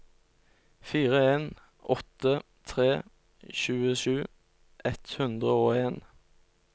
fire en åtte tre tjuesju ett hundre og en